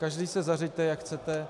Každý se zařiďte, jak chcete.